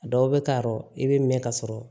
Dɔw bɛ taa yɔrɔ i bɛ mɛn ka sɔrɔ